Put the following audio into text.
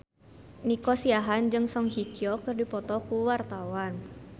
Nico Siahaan jeung Song Hye Kyo keur dipoto ku wartawan